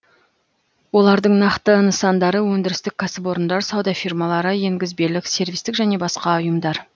олардың нақты нысандары өндірістік кәсіпорындар сауда фирмалары енгізбелік сервистік және басқа ұйымдар